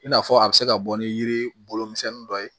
I n'a fɔ a bɛ se ka bɔ ni yiri bolo misɛnnin dɔ ye